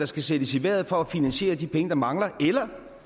skal sættes i vejret for at finansiere de penge der mangler eller